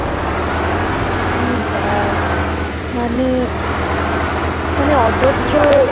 ছি মানে মানে